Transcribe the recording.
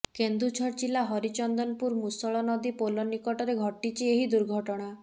କେନ୍ଦୁଝର ଜିଲ୍ଲା ହରିଚନ୍ଦନପୁର ମୂଷଳ ନଦୀ ପୋଲ ନିକଟରେ ଘଟିଛି ଏହି ଦୁର୍ଘଟଣା